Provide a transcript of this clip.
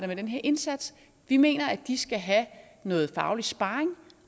med den her indsats vi mener at de skal have noget faglig sparring